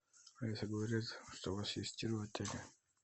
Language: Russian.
алиса говорят что у вас есть тир в отеле